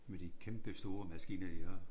Med de kæmpestore maskiner de har